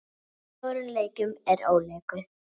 Fjórum leikjum er ólokið.